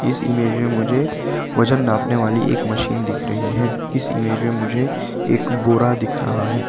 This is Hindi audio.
इस इमेज में मुझे वजन नापने वाली एक मशीन दिख रही है इस इमेज में मुझे एक बोरा दिख रहा है।